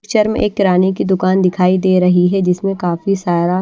picture में एक किराने की दुकान दिखाई दे रही है जिसमें काफी सारा--